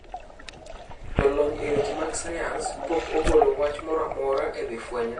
Jolony e weche mag sayans pok ogolo wach moramora ewii fweny no.